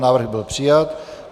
Návrh byl přijat.